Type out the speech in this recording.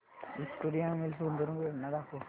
Victoria Mills गुंतवणूक योजना दाखव